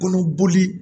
Kɔnɔboli